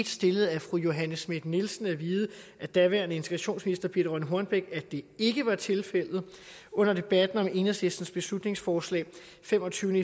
stillet af fru johanne schmidt nielsen at vide af daværende integrationsminister birthe rønn hornbech at det ikke var tilfældet under debatten om enhedslistens beslutningsforslag af femogtyvende